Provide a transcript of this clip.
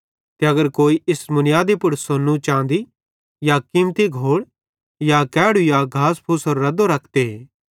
ते अगर कोई इस मुनीयादी पुड़ सोन्नू चाँदी या कीमती घोड़ या कैड़ु या घास फूसेरो रद्दो रखते